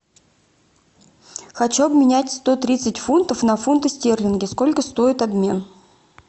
хочу обменять сто тридцать фунтов на фунты стерлинги сколько стоит обмен